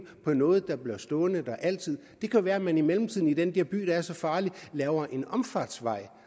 på noget der bliver stående der altid det kan være man i mellemtiden i den der by der er så farlig laver en omfartsvej